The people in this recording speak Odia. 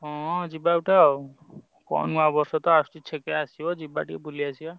ହଁ ଯିବା ତ କଣ ନୂଆବର୍ଷ ତ ଆସୁଛି ଯିବା ଟିକେ ବୁଲି ଆସିବା।